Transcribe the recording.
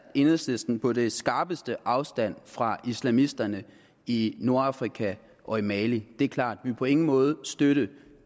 enhedslisten på det skarpeste afstand fra islamisterne i nordafrika og i mali det er klart vil på ingen måde støtte